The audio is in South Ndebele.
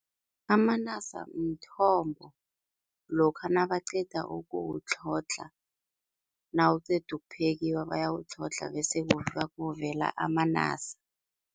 Amanasa mthombo lokha nabaqeda ukuwutlhodlha, nawuqeda ukuphekiwa bayawutlhoga bese kuvela amanasa.